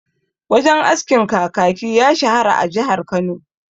Wajen askin Kakaki ya shahara a jihar Kano..